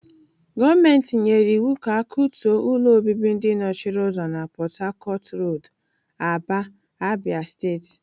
Gọọmenti nyere iwu ka akutuo ụlọ obibi ndị nọchiri ụzọ na Port-harcourt Road, Aba, Abia State.